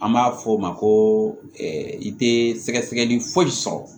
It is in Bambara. An b'a fɔ o ma ko i tɛ sɛgɛsɛgɛli foyi sɔrɔ